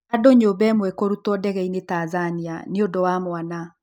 Andũa nyũmba ĩmwe kũrutwo ndegeinĩ Tanzania nĩ ũndũwa mwana.